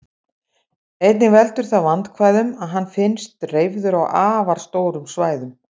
Einnig veldur það vandkvæðum að hann finnst dreifður á afar stórum svæðum.